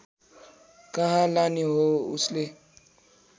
कहाँ लाने हो उसले